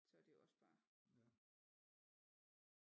Så det jo også bare